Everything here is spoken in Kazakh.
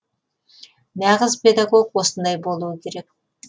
нағыз педагог осындай болуы керек